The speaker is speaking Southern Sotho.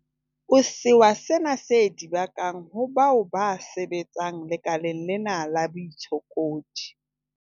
o sewa sena se di bakang ho bao ba sebetsang lekaleng lena la baitshokodi.